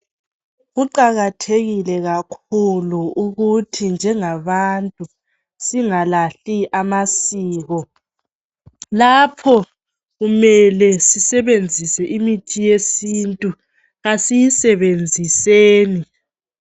Kuqakathekile kakhulu ukuthi njengabantu singalahli amasiko Lapho kumele sisebenzise imithi yesintu kasiyisebenziseni